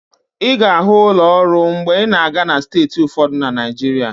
Ị ga-ahụ ụlọ ụrọ mgbe ị na-aga na steeti ụfọdụ na Naijiria.